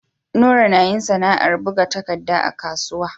Nura nayin sAna'ar buga takadda a kasuwa